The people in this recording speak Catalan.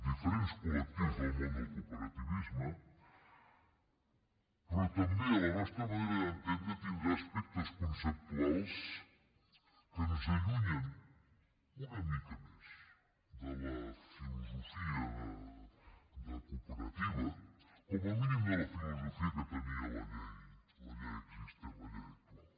diferents col·lectius del món del cooperativisme però també a la nostra manera d’entendre tindrà aspectes conceptuals que ens allunyen una mica més de la filosofia de cooperativa com a mínim de la filosofia que tenia la llei existent la llei actual